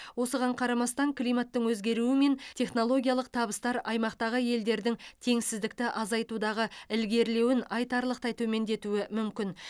осыған қарамастан климаттың өзгеруі мен технологиялық табыстар аймақтағы елдердің теңсіздікті азайтудағы ілгерілеуін айтарлықтай төмендетуі мүмкін